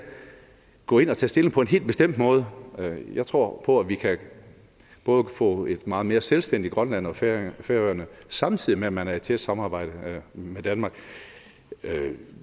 gå ind og tage stilling på en helt bestemt måde jeg tror på at vi kan få et meget mere selvstændigt grønland og færøerne færøerne samtidig med at man er i tæt samarbejde med danmark